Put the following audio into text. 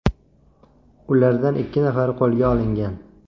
Ulardan ikki nafari qo‘lga olingan.